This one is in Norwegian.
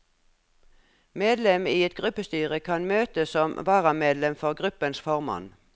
Medlem i et gruppestyre kan møte som varamedlem for gruppens formann.